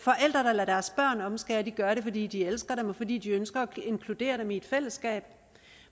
lader deres børn omskære gør det fordi de elsker dem og fordi de ønsker at inkludere dem i et fællesskab